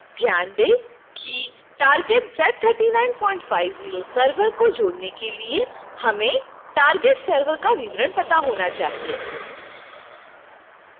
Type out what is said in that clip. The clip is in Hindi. ध्यान दें कि target z3950 server को जोड़ने के लिए हमें target server का विवरण पता होना चाहिए